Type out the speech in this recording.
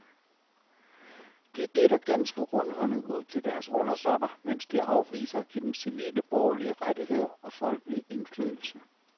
De deler ganske rundhåndet ud til deres undersåtter, mens de afviser at give dem civile borgerlige rettigheder og folkelig indflydelse.